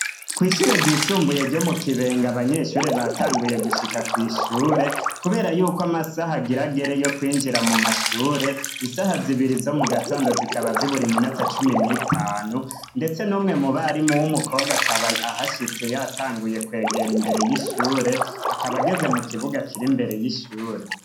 kw'ishure ryisumbuye ryo mukibenga abanyeshure batanguye gushika kw'ishure kubera yuko amasaha agir'agere yo kwinjira mumashure. Isaha zibiri zo mugatondo zikaba zibur'iminota cumi n'itanu ndetse n'umwe mubarimu w'umukobwa akaba ahashitse yatanguye kwegera imbere y'ishure akaba ageze mukibuga kir'imbere y'ishure.